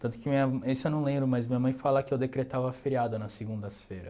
Tanto que minha, isso eu não lembro, mas minha mãe fala que eu decretava feriado nas segundas-feira.